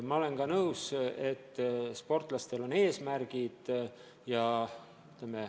Ma olen ka nõus, et sportlastel on eesmärgid.